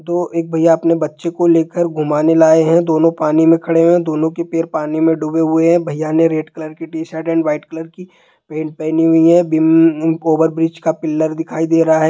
तो एक भैया अपने बच्चे को लेकर घुमाने लाए हैं| दोनों पानी मे खड़े हैं दोनों के पैर पानी मे डूबे हुए हैं| भैया ने रेड कलर की टी-शर्ट और व्हाइट कलर की पैन्ट पहनी हुई है| बिम्ब ओवर ब्रिज का पिलर दिखाई दे रहा है।